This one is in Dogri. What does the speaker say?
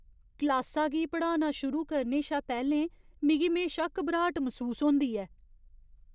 क्लासा गी पढ़ाना शुरू करने शा पैह्लें मिगी म्हेशा घबराट मसूस होंदी ऐ।